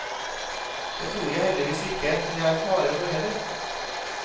Det tror jeg heldigvis ikke det er fare for heller.